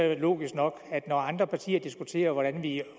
jo logisk nok at det når andre partier diskuterer hvordan vi